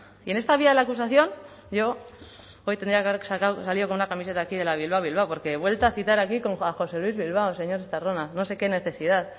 y en esta vía de la acusación yo hoy tenía que haber sacado salido con una camiseta aquí de la bilbao bilbao porque vuelta a citar aquí con juan josé luis bilbao señor estarrona no sé qué necesidad